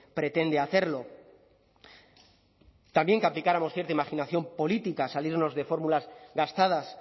pretende hacerlo también que aplicáramos cierta imaginación política salirnos de fórmulas gastadas